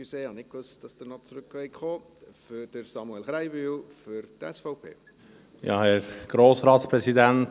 Entschuldigen Sie, ich wusste nicht, dass Sie noch einmal zurückkommen wollen.